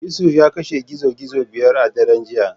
Yusuf ya kashe gizo gizo biyar a daren jiya.